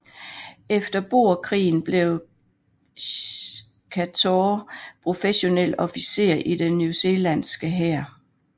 Efter boerkrigen blev Chaytor professionel officer i den newzealandske hær